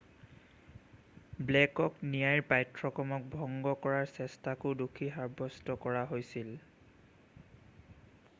ব্লেকক ন্যায়ৰ পাঠ্যক্ৰমক ভংগ কৰাৰ চেষ্টাকো দোষী সাব্যস্ত কৰা হৈছিল